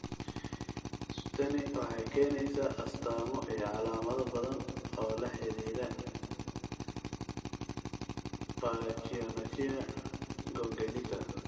Tani waxay keenaysaa astamo iyo calaamado badan oo la xidhiidha pachyonychia congenita.